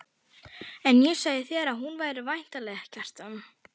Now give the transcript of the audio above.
En ég sagði þér að hún væri væntanleg, Kjartan.